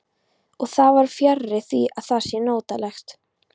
Og það er fjarri því að það sé notalegt.